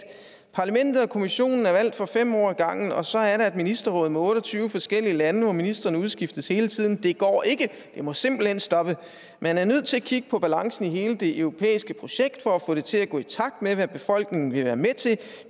parlamentet og kommissionen er valgt for fem år ad gangen og så er der et ministerråd med otte og tyve forskellige lande hvor ministrene udskiftes hele tiden det går ikke det må simpelthen stoppe man er nødt til at kigge på balancen i hele det europæiske projekt for at få det til at gå i takt med hvad befolkningerne vil være med til